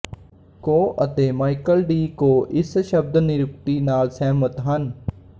ਕੋ ਅਤੇ Michael D Coe ਇਸ ਸ਼ਬਦ ਨਿਰੁਕਤੀ ਨਾਲ ਸਹਿਮਤ ਹਨ